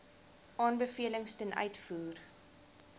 aanbevelings ten uitvoer